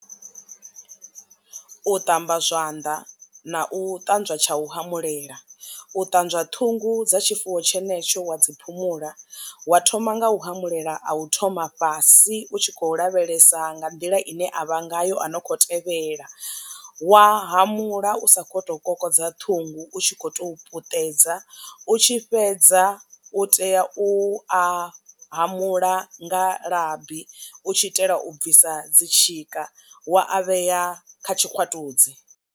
U ṱamba zwanḓa na u ṱanzwa tsha u humbulela u ṱanzwa ṱhungu dza tshifuwo tshenetsho wa dzi phumula wa thoma nga u humbulela a u thoma fhasi u tshi khou lavhelesa nga nḓila ine a vha ngayo a no kho tevhela wa hamula u sa kho to kokodza ṱhungu u tshi kho to puṱedza u tshi fhedza u tea u a hamula nga labi u tshi itela u bvisa dzi tshika wa a vhea kha tshikwatudzi